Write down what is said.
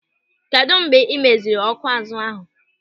Kedụ mgbe ị meziri ọ́kụ́ azụ ahụ?